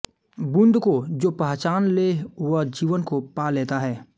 बूँद को जो पहचान ले वह जीवन को पा लेता है